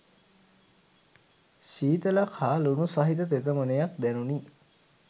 ශීතලක් හා ලුණු සහිත තෙතමනයක් දැනුණි